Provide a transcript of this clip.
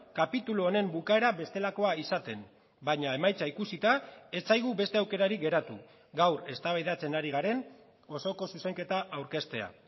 kapitulu honen bukaera bestelakoa izaten baina emaitza ikusita ez zaigu beste aukerari geratu gaur eztabaidatzen ari garen osoko zuzenketa aurkeztea